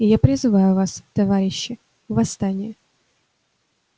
и я призываю вас товарищи восстание